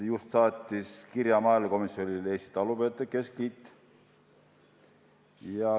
Äsja saatis maaelukomisjonile kirja Eesti Talupidajate Keskliit.